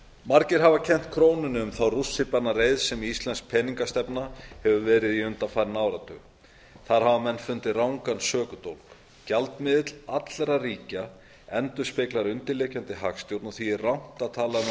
margir hafa kennt krónunni um þá rússíbanareið sem íslensk peningamálastefna hefur verið í undanfarinn áratug þar hafa menn fundið rangan sökudólg gjaldmiðill allra ríkja endurspeglar undirliggjandi hagstjórn og því er rangt að tala um að